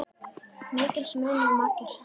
Mikils munu margir sakna.